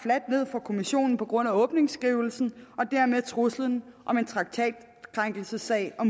for kommissionen på grund af åbningsskrivelsen og dermed truslen om en traktatkrænkelsessag og